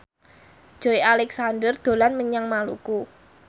Joey Alexander dolan menyang Maluku